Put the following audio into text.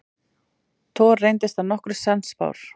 Thor reyndist að nokkru sannspár.